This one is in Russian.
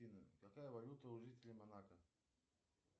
афина какая валюта у жителей монако